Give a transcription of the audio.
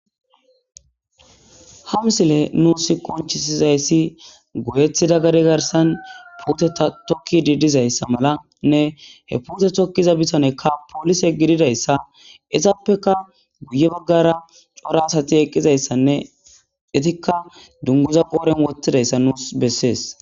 Ha misiley nus qoncisizays goyetida gade garsan puteta tokidi dizaysa malanne he pute bitaneyka polise gididaysa izapeka guye bagara cora asati e eqidaysanne etika dunguza qodhe yegidaysa nunls beses